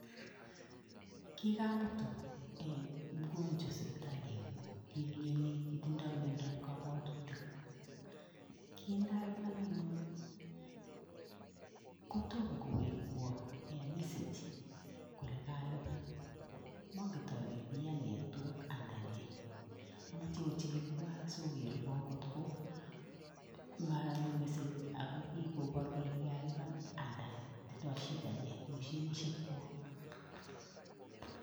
Kikamut mukonjwa sipitali ngwong kimioni kitindoi miondap kobwotutik kindalipan anyun kotom kowekwon en messange kole kalipan monket ole kiyaa network anan nee omoche ochikilwon sokerwon kotko monyo message ako kokobor kole kikalipan anan tindo shida nee moshinishek kwok.